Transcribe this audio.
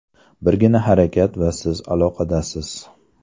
Birgina harakat va siz aloqadasiz!